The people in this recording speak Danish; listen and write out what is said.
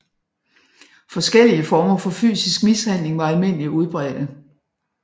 Forskellige former for fysisk mishandling var almindeligt udbredte